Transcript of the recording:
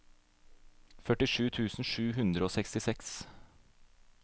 førtisju tusen sju hundre og sekstiseks